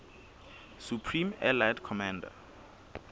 supreme allied commander